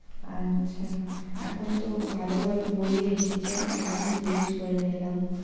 আচ্ছা, এখন তো ভালো ভালো বইও এসেছে না ওই জন্য জিজ্ঞেস করে নিলাম, "